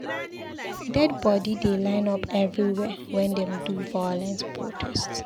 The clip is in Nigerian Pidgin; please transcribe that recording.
Dead bodi dey line up everywhere wen dem do violent protest.